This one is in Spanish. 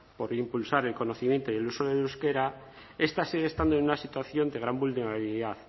por impulsar el conocimiento y el uso del euskera esta sigue estando en una situación de gran vulnerabilidad